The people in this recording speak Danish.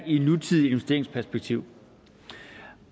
i et nutidigt investeringsperspektiv